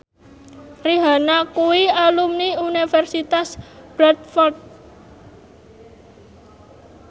Rihanna kuwi alumni Universitas Bradford